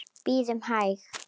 Bíðum hæg.